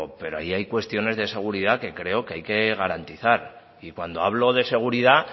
pero ahí hay cuestiones de seguridad que creo que hay que garantizar y cuando hablo de seguridad